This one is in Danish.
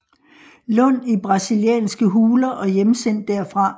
Lund i brasilianske huler og hjemsendt derfra